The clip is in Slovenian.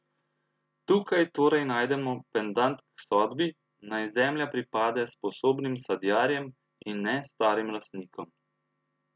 Tukaj torej najdemo pendant k sodbi, naj zemlja pripade sposobnim sadjarjem, in ne starim lastnikom.